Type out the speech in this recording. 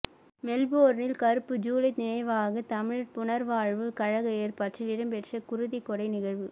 மெல்பேர்னில் கறுப்பு ஜுலை நினைவாக தமிழர் புனர்வாழ்வு கழக ஏற்பாட்டில் இடம்பெற்ற குருதிக்கொடை நிகழ்வு